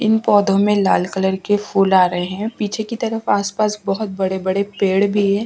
इन पौधों में लाल कलर के फूल आ रहे हैं पीछे की तरफ आसपास बहुत बड़े-बड़े पेड़ भी है।